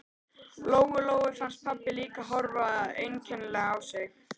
Lóu Lóu fannst pabbi líka horfa einkennilega á sig.